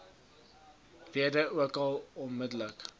rede ookal onmiddellik